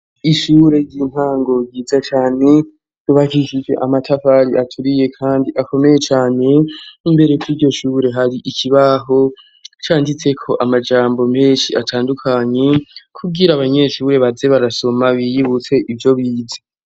ishure ry'intango ryiza cane tubagishije amatafari aturiye kandi akomeye cane imbere kw'iryoshure hari ikibaho canditse ko amajambo menshi atandukanye kubwira abanyesure baze barasoma biyibutse ivyo bize